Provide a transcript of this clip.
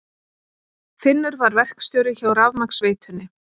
Finnur var verkstjóri hjá rafmagnsveitunni.